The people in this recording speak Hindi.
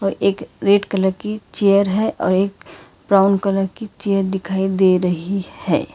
एक रेड कलर की चेयर है और एक ब्राउन कलर की चेयर दिखाई दे रही है।